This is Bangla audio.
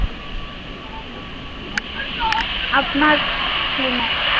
আপনার কী মত?